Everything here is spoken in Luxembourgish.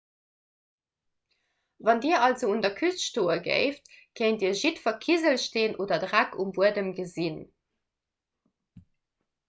wann dir also un der küst stoe géift kéint dir jiddwer kiselsteen oder dreck um buedem gesinn